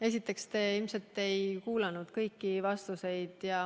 Esiteks, te ilmselt ei kuulanud kõiki vastuseid.